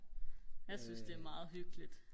jeg synes det er meget hyggeligt